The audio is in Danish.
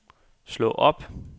slå op